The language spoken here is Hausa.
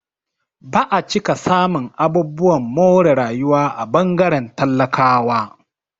Ba'a cika samun abubuwan more rayuwa a ɓangaren talakawa